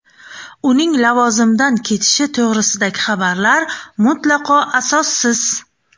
Uning lavozimdan ketishi to‘g‘risidagi xabarlar mutlaqo asossiz.